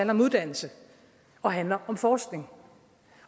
om uddannelse og handler om forskning